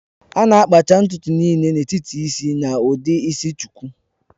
A na-akpacha ntutu niile n'etiti isi na ụdị isi shuku